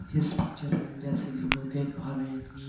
इस पिक्चर में जैसे की हम लोग देख पा रहें हैं कि--